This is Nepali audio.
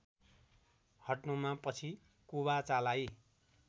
हट्नुमा पछि कुबाचालाई